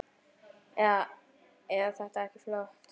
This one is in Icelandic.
Eð þetta ekki flott?